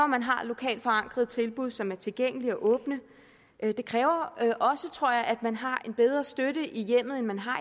man har lokalt forankrede tilbud som er tilgængelige og åbne det kræver også tror jeg at man har en bedre støtte i hjemmet end man har